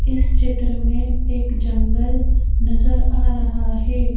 इस चित्र में एक जंगल नजर आ रहा है।